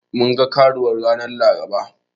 Mun ga Karuwar ranar Laraba.